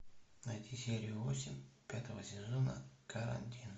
найди серию восемь пятого сезона карантин